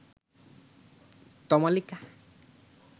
Tamalika